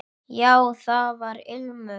Já, það var ilmur!